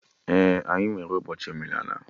Ee, anyị nwere ụbọchị omenala